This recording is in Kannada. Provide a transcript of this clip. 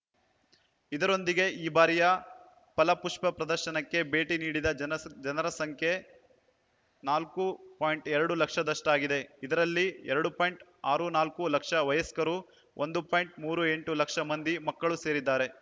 ಇದರೊಂದಿಗೆ ಈ ಬಾರಿಯ ಫಲಪುಷ್ಪಪ್ರದರ್ಶನಕ್ಕೆ ಭೇಟಿ ನೀಡಿದ ಜನರ ಸಂಖ್ಯೆ ನಾಲ್ಕು ಪಾಯಿಂಟ್ ಎರಡು ಲಕ್ಷದಷ್ಟಾಗಿದೆ ಇದರಲ್ಲಿ ಎರಡು ಪಾಯಿಂಟ್ ಅರವತ್ತ್ ನಾಲ್ಕು ಲಕ್ಷ ವಯಸ್ಕರು ಒಂದು ಪಾಯಿಂಟ್ ಮೂರು ಎಂಟು ಲಕ್ಷ ಮಂದಿ ಮಕ್ಕಳೂ ಸೇರಿದ್ದಾರೆ